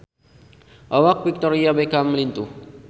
Awak Victoria Beckham lintuh